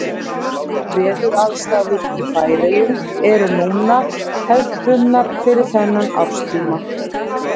Veðuraðstæður í Færeyjum eru núna hefðbundnar fyrir þennan árstíma.